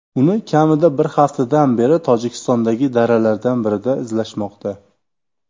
Uni kamida bir haftadan beri Tojikistondagi daralardan birida izlashmoqda.